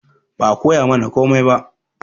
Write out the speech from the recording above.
Ba a koyamana komai ba